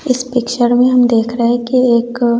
इस पिक्चर में हम देख रहे हैं कि एक--